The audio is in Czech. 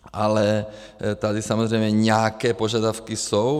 Ale tady samozřejmě nějaké požadavky jsou.